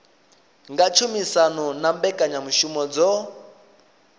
nga tshumisano na mbekanyamushumo dzo